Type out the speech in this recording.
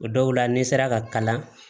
O dɔw la ni n sera ka kalan